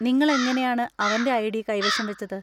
നിങ്ങൾ എങ്ങനെയാണ് അവന്‍റെ ഐഡി കൈവശം വച്ചത്?